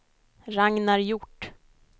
Ragnar Hjort